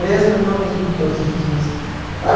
Mesmo eu não indo todos os dias.